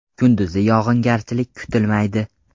Kunduzi yog‘ingarchilik kutilmaydi.